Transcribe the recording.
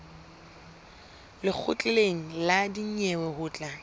lekgotleng la dinyewe ho tla